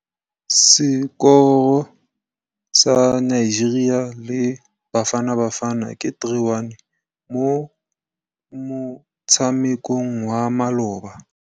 Sekôrô sa Nigeria le Bafanabafana ke 3-1 mo motshamekong wa malôba.